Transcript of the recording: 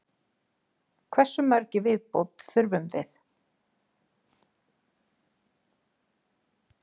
Hversu mörg í viðbót þurfum við?